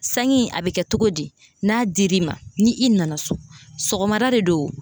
Sangi in , a bɛ kɛ cogo di? n'a dir'i ma, ni i nana so, sɔgɔmada de don